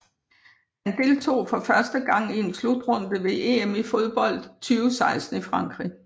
Holdet deltog for første gang i en slutrunde ved EM i fodbold 2016 i Frankrig